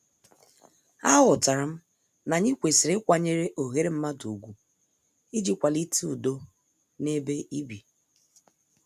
A ghotaram na-anyi kwesịrị ịkwanyere oghere mmadụ ugwu iji kwalite udo na-ebe ibi.